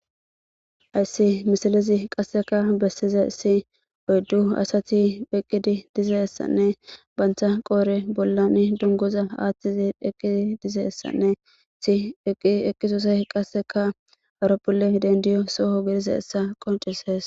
Haysi misilezi qaseka besizaysi,uyddu asati eqqidi dizaysane banta qoodhen dunguzo aathidi eqqidi dizaysane enti eqqido sohoh horphiley dendizo soho gidizaysa qoncisees.